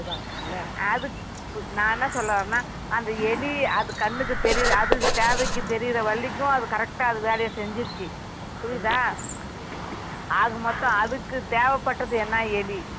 நான் என்ன சொல்ல வரேனா அந்த எலி அது கண்ணுக்கு தெரியுர அது தேவைக்கு தெரியுற வரைக்கும் அது correct டா அது வேலைய செஞ்சுது புரியுதா ஆக மோததம் அதுக்கு தேவைப்பட்டுது என்ன எலி